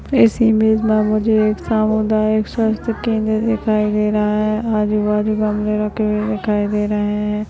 इस इमेज में मुझे एक सामुदायिक स्वस्थ्य केंद्र दिखाई दे रहा है आजु बाजु गमले रखे हुए दिखाई दे रहे हैं।